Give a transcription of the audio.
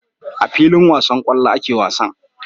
A filin wasan kwallo ake wasan